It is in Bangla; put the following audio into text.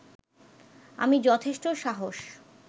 আমি যথেষ্ট সাহস